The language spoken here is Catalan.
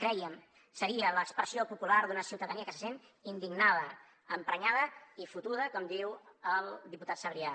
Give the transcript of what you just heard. creiem seria l’expressió popular d’una ciutadania que se sent indignada emprenyada i fotuda com diu el diputat sabrià